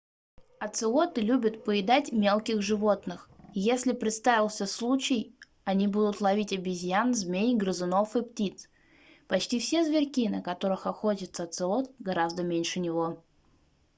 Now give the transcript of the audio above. оцелоты любят поедать мелких животных если представится случай они будут ловить обезьян змей грызунов и птиц почти все зверьки на которых охотится оцелот гораздо меньше него